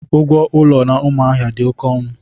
Ụgwọ ụlọ na Umuahia dị oké ọnụ.